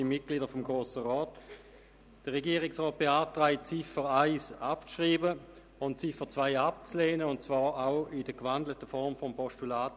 Die Regierung beantragt, die Ziffer 1 abzuschreiben und die Ziffer 2 abzulehnen, und zwar auch in der gewandelten Form eines Postulats.